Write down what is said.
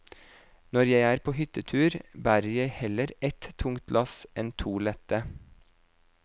Når jeg er på hyttetur, bærer jeg heller ett tungt lass enn to lette.